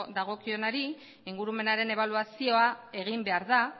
dagokionari ingurumenaren ebaluazioa egin behar da